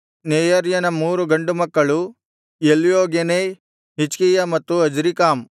ನೆಯರ್ಯನ ಮೂರು ಗಂಡು ಮಕ್ಕಳು ಎಲ್ಯೋಗೆನೈ ಹಿಜ್ಕೀಯ ಮತ್ತು ಅಜ್ರೀಕಾಮ್